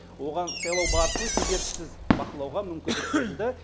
оған сайлау барысын кедергісіз бақылауға мүмкіндік берілді